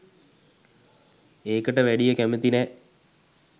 ඒකට වැඩිය කැමති නෑ.